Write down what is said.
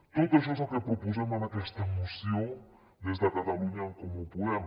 tot això és el que proposem en aquesta moció des de catalunya en comú podem